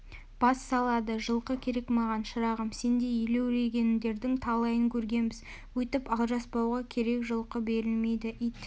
бас салады жылқы керек маған шырағым сендей елеурегендердің талайын көргенбіз өйтіп алжаспауға керек жылқы берілмейді ит